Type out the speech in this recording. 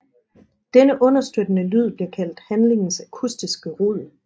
Denne understøttende lyd bliver kaldt handlingens akustiske rod